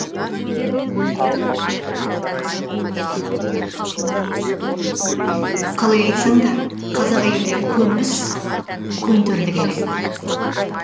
қалай айтсаң да қазақ әйелдерікөнбіс көнтерлі келеді